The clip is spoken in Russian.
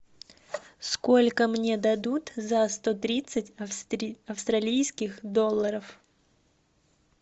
сколько мне дадут за сто тридцать австралийских долларов